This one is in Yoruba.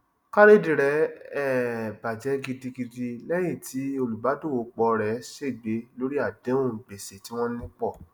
kárédì rẹ um bajẹ gidigidi lẹyìn tí olùbàdọwọpọ rẹ ṣègbé lórí àdéhùn gbèsè tí wọn ní pọ